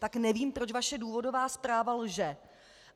Tak nevím, proč vaše důvodová zpráva lže.